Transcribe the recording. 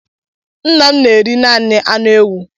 Nna m na-eri naanị anụ ewu.